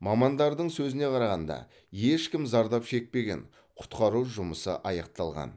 мамандардың сөзіне қарағанда ешкім зардап шекпеген құтқару жұмысы аяқталған